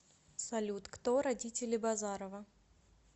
салют кто родители базарова